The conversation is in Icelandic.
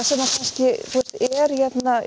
að kannski er hérna í